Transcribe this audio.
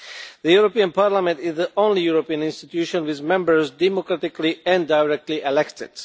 The European Parliament is the only European institution with Members democratically and directly elected.